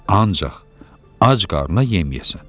Ancaq ac qarına yeməyəsən.